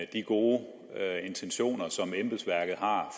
de gode intentioner som embedsværket har